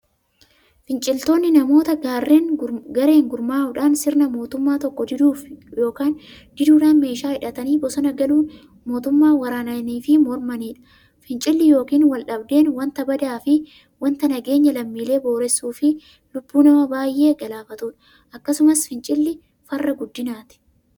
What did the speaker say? Finciltoonni namoota gareen gurmaa'udhaan sirna mootummaa tokkoo diduufi diduudhan meeshaa hidhatanii bosona galuun mootummaa waraananiifi mormaniidha. Fincilli yookiin waldhabdeen wanta badaafi wanta nageenya lammiilee boreessuufi lubbuu nama baay'ee galaafatuudha. Akkasumas fincilli farra guddinaati.